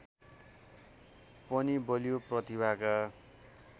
पनि बलियो प्रतिभाका